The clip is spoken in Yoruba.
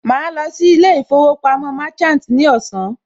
Màá lọ sí ilé ìfowópamọ́ Merchant ní ọ̀sán